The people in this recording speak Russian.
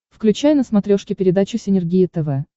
включай на смотрешке передачу синергия тв